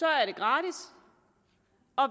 er gratis